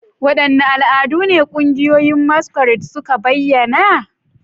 Wadanne al'adu ne ƙungiyoyin masquerade suka bayyana?